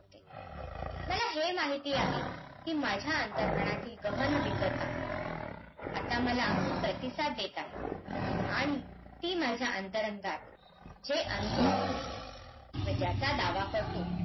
मला हे माहिती आहे, की माझ्या अंतर मनाची गहनविधता आता मला प्रतिसाद देत आहे आणि ती माझ्या अंतरंगात हे अनुभवतो, मी ज्याचा दावा करतो